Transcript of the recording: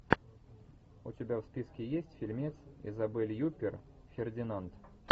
у тебя в списке есть фильмец изабель юппер фердинанд